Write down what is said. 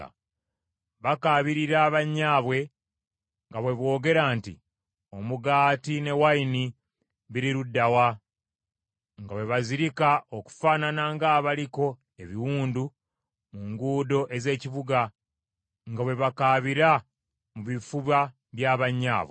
Bakaabirira bannyaabwe nga bwe boogera nti, “Omugaati n’envinnyo biri ludda wa?” nga bwe bazirika okufaanana ng’abaliko ebiwundu mu nguudo ez’ekibuga, nga bwe bakaabira mu bifuba bya bannyaabwe.